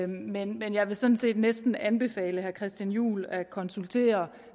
men jeg vil sådan set næsten anbefale herre christian juhl at konsultere